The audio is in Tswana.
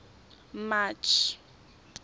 march